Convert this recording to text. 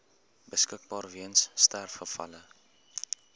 beskikbaar weens sterfgevalle